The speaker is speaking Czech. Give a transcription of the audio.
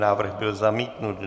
Návrh byl zamítnut.